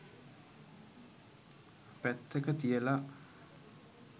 පැත්තක තියලා